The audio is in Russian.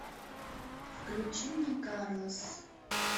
включи мне карлос